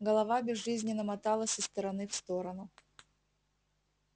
голова безжизненно моталась из стороны в сторону